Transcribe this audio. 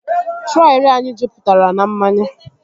Trọli anyị jupụtara na mmanya